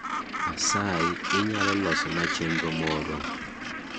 asayi inyalo loso na chenro moro